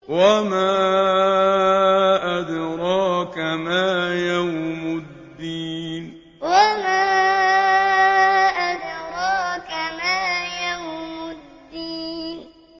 وَمَا أَدْرَاكَ مَا يَوْمُ الدِّينِ وَمَا أَدْرَاكَ مَا يَوْمُ الدِّينِ